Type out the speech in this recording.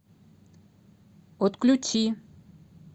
отключи